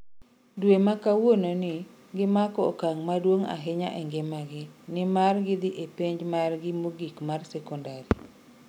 Dwe ma kawuononi, gimako okang' maduong' ahinya e ngimagi, nimar gidhi e penj margi mogik mar sekondari.